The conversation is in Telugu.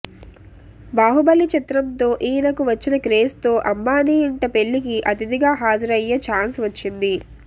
బాహుబలి చిత్రంతో ఈయనకు వచ్చిన క్రేజ్తో అంబానీ ఇంట పెళ్లికి అతిథిగా హాజరు అయ్యే ఛాన్స్ వచ్చింది